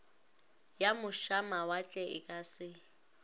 ya mošamawatle e ka se